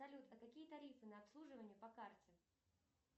салют а какие тарифы на обслуживание по карте